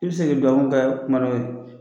I bi se ke dugawu kɛ maa dɔ ye